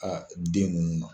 den ninnu ma.